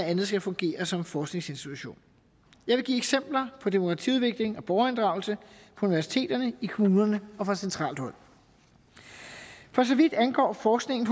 andet skal fungere som en forskningsinstitution jeg vil give eksempler på demokratiudvikling og borgerinddragelse på universiteterne i kommunerne og fra centralt hold for så vidt angår forskningen